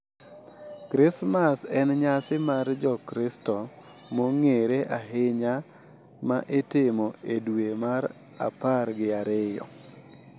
Krismas en nyasi mar Jokristo mong’ere ahinya ma itimo e dwe mar apar gi ariyo,